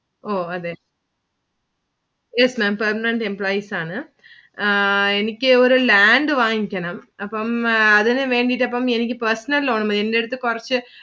ഓ അതെ Yes Ma'am permanent employees ആണ്. ആ എനിക്ക് ഒരു land വാങ്ങിക്കണം. അപ്പം അതിനു വേണ്ടിയിട്ടു അപ്പം എനിക്ക് personal loan എന്റെ അടുത്ത് കുറച്ചു